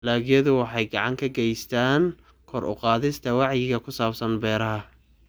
Dalagyadu waxay gacan ka geystaan ??kor u qaadista wacyiga ku saabsan beeraha.